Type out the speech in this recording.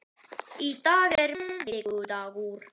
Í dag er miðvikudagur.